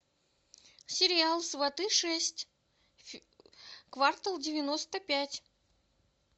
сериал сваты шесть квартал девяносто пять